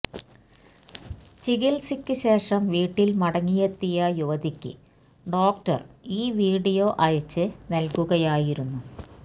ചികിത്സയ്ക്ക് ശേഷം വീട്ടില് മടങ്ങിയെത്തിയ യുവതിക്ക് ഡോക്ടര് ഈ വീഡിയോ അയച്ച് നല്കുകയായിരുന്നു